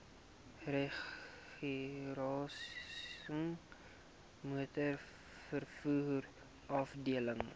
regerings motorvervoer afdeling